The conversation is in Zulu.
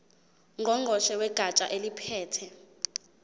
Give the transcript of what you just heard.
ngqongqoshe wegatsha eliphethe